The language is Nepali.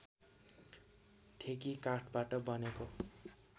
ठेकी काठबाट बनेको